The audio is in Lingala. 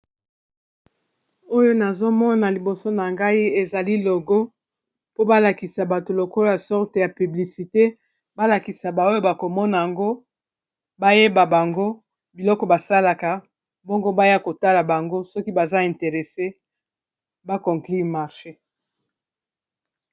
Oyo nazomona liboso na ngai ezali logo po balakisa bato lokolo ya sorte ya piblicite balakisa baoyo bakomona yango bayeba bango biloko basalaka mbongo baya kotala bango.